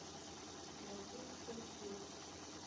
найди экью